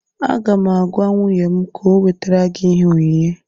Aga m agwa nwunye m ka ọ wetara gị ihe onyinye